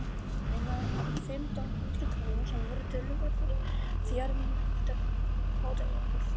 Mér lánaði hann fimmtán hundruð krónur sem voru töluverðir fjármunir fyrir fátækan pilt.